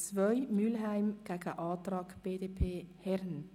Wir kommen zur Gegenüberstellung der Prozente.